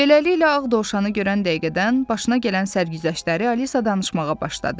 Beləliklə, Ağ Dovşanı görən dəqiqədən başına gələn sərgüzəştləri Alisa danışmağa başladı.